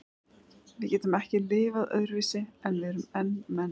Við getum ekki lifað öðruvísi en við erum menn til.